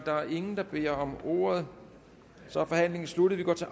er ingen der beder om ordet så er forhandlingen sluttet vi går til